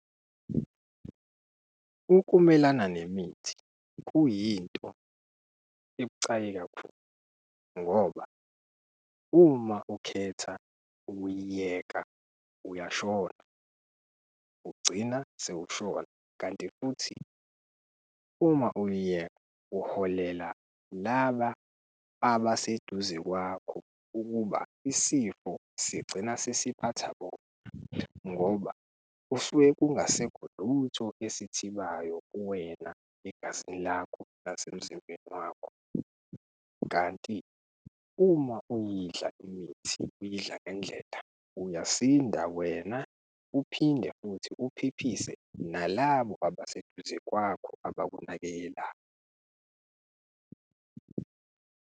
Ukumelana nemithi kuyinto ebucayi kakhulu ngoba uma ukhetha ukuyiyeka uyashona. Ugcina sewushona kanti futhi uma uyiyeka uholela laba abaseduze kwakho ukuba isifo sigcina sesiphatha bona ngoba kusuke kungasekho lutho esithibayo kuwena egazini lakho nasemzimbeni wakho. Kanti uma uyidla imithi, uyidla ngendlela, uyasinda wena uphinde futhi uphephise nalabo abaseduze kwakho abakunakekelayo.